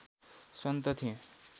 सन्त थिए